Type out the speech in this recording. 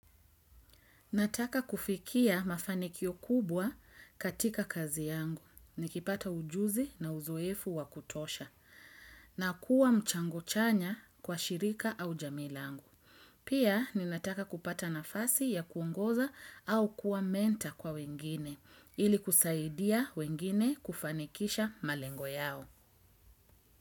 Nataka kufikia mafanikio kubwa katika kazi yangu, nikipata ujuzi na uzoefu wa kutosha, na kuwa mchango chanya kwa shirika au jamii langu. Pia, ninataka kupata nafasi ya kuongoza au kuwa mentor kwa wengine, ili kusaidia wengine kufanikisha malengo yao.